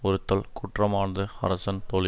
ஒறுத்தல் குற்றமான்று அரசன் தொழி